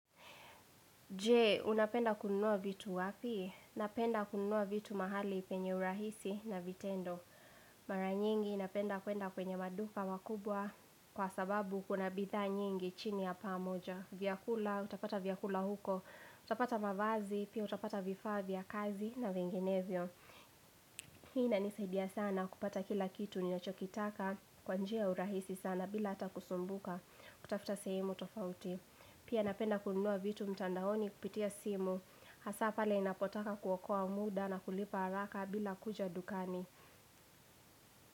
Je, unapenda kununua vitu wapi? Napenda kununua vitu mahali penye urahisi na vitendo. Mara nyingi napenda kwenda kwenye maduka makubwa kwa sababu kuna bidhaa nyingi chini ya pamoja. Vyakula, utapata vyakula huko, utapata mavazi, pia utapata vifaa vya kazi na vinginevyo. Hii inanisaidia sana kupata kila kitu ninachokitaka kwa njia ya urahisi sana bila ata kusumbuka. Kutafuta sehemu tofauti. Pia napenda kununua vitu mtandaoni kupitia simu Hasa pale ninapotaka kuokoa muda na kulipa haraka bila kuja dukani.